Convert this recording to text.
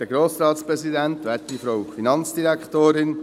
Herr Schlup, Sie haben das Wort.